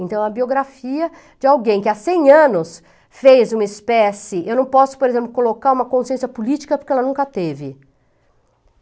Então, a biografia de alguém que há cem anos fez uma espécie... Eu não posso, por exemplo, colocar uma consciência política porque ela nunca teve.